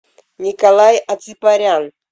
николай аципарян